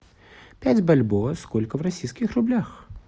пять бальбоа сколько в российских рублях